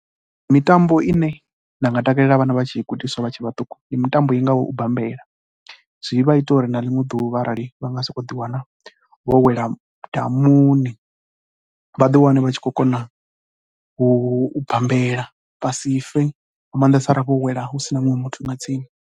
Mitambo ine nda nga takalela vhana vha tshi i gudiswa vha tshe vhaṱuku ndi mitambo i ngaho u bambela, zwi vha ita uri na ḽiṅwe ḓuvha arali vha sokou ḓiwana vho wela madamuni, vha ḓi wane vha tshi khou kona u bambela vha si fe nga maanḓesa arali vho wela hu si na muṅwe muthu nga tsini.